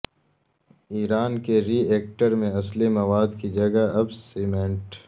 ایران کے reactor میں اصلی مواد کی جگہ اب سیمنٹ